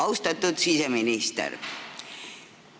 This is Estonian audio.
Austatud siseminister!